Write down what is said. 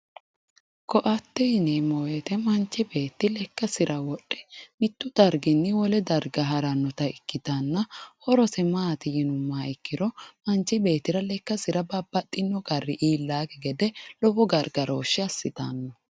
Ko"atte yineemmo woyiite manchi beetti lekkasira wodhe mittu darginni wole darga harannota ikkitanna horose maati yinummoha ikkiro manchi beettria lekkasira babbaxxeyo qarri iillannosikki gede gargarooshshe assitanno